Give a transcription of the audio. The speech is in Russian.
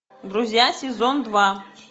друзья сезон два